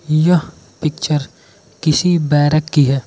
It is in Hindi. यह पिक्चर किसी बैरक की है।